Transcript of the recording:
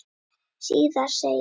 Síðar segir